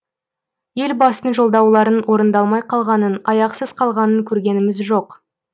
елбасының жолдауларының орындалмай қалғанын аяқсыз қалғанын көргеніміз жоқ